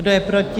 Kdo je proti?